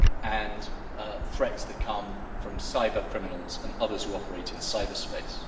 and the threats that come from cyber criminals and others who operate in cyberspace.